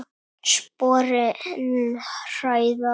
Sporin hræða.